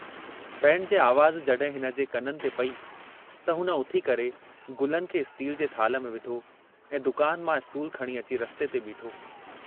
Band जे आवाज़ जड्हिं हिनजे कननि ते पेई त हुन उथी करे गुलनि खे स्टील जे थाल्ह में विधो ऐं दुकान मां स्टूल खणी अची रस्ते ते बीठो।